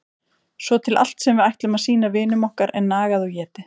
Svo til allt sem við ætlum að sýna vinum okkar er nagað og étið.